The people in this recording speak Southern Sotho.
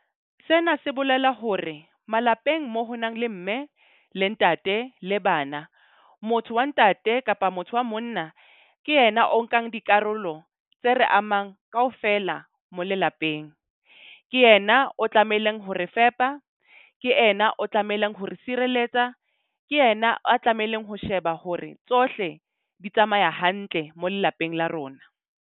Sena se bolela hore malapeng moo ho nang le mme le ntate le bana, motho wa ntate kapa motho wa monna, ke yena o nkang dikarolo tse re amang kaofela mo lelapeng. Ke yena o tlamehileng ho re fepa. Ke ena o tlamehileng hore sireletsa. Ke yena a tlamehileng ho sheba hore tsohle di tsamaya hantle mo lelapeng la rona.